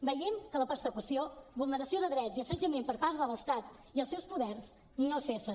veiem que la persecució vulneració de drets i assetjament per part de l’estat i els seus poders no cessa